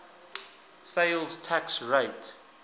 sales tax rate